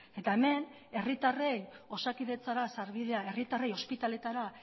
eta hemen herritarren osakidetza da sarbidea herritarrei ospitaletara